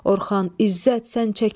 Orxan, İzzət, sən çəkil.